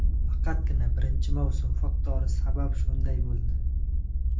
faqatgina birinchi mavsum faktori sabab shunday bo‘ldi.